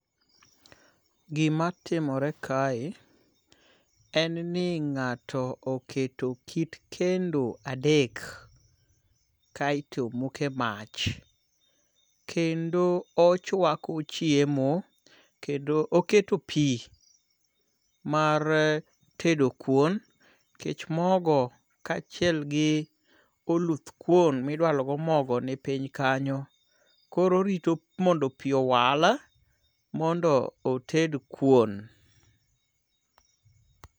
Gimatimore kae, en ni nga'to oketo kit kendo adek, kaeto omoko mach kendo ochwako chiemo, kendo oketo pi mar tedo kuon nikech mogo kachiel gi oluthkuon midwalo go mogo ni piny kanyo, koro orito mondo pi owal mondo oted kuon.